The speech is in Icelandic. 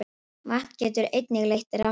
Vatn getur einnig leitt rafmagn.